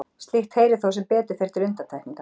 Slíkt heyrir þó sem betur fer til undantekninga.